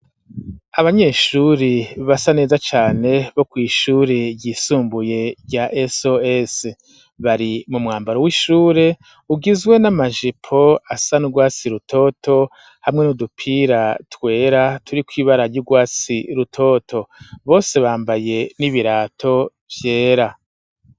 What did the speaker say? Abanyeshuri basa neza cane bo ku ishuri ryisumbuye rya sos bari mu mwambaro w'ishure ugizwe n'amajipo asanrwasi rutoto hamwe n'udupira twera turi kw'ibara ry'urwasi rutoto bose bambaye n'ibirato vyera.